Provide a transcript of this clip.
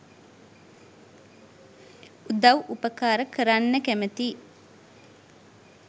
උදව් උපකාර කරන්න කැමැතියි.